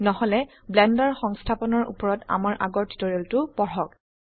নহলে ব্লেন্ডাৰ সংস্থাপনৰ উপৰত আমাৰ আগৰ টিউটোৰিয়েলটো পড়ক